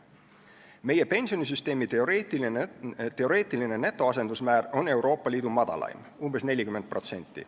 Meie pensionisüsteemi teoreetiline netoasendusmäär on Euroopa Liidu madalaim, umbes 40%.